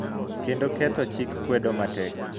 Kendo ketho chik kwedo matek. .